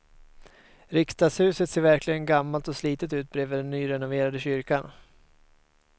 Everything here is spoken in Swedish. Riksdagshuset ser verkligen gammalt och slitet ut bredvid den nyrenoverade kyrkan.